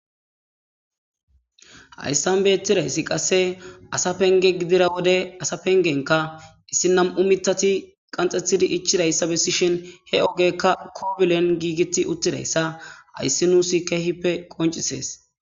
Hayssan bettidayssi qasse asa penge gidira wode asa pengenka issi nam'u mitati qanxxethidi ichidayssa bessi shin he ogekka koobulen giigiti uttidayssa hayssi nuusi kehippe qoncisees.